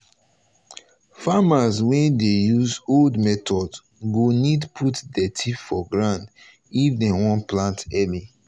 farmers wey dey use old method go need put dirty for ground if den want plant early.